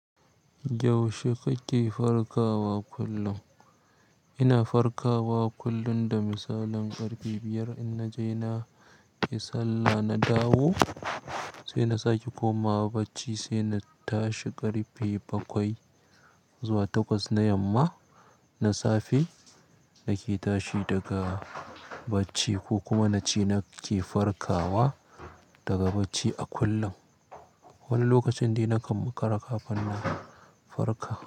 Yaushe kake farkawa kullum? Ina farkawa kullum da misalin ƙarfe biyar in naje na yi sallah, na dawo sai na sake komawa bacci sai na tashi ƙarfe bakwai zuwa takwas na yamma, na safe nake tashi daga bacci ko kuma nace nake farkawa daga bacci a kullum. Wani lokacin dai nakan makara kafin na farka.